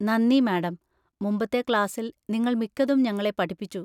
നന്ദി, മാഡം, മുമ്പത്തെ ക്ലാസിൽ നിങ്ങൾ മിക്കതും ഞങ്ങളെ പഠിപ്പിച്ചു.